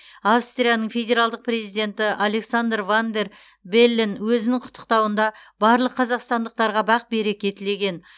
австрияның федералдық президенті александр ван дер беллен өзінің құттықтауында барлық қазақстандықтарға бақ береке тілеген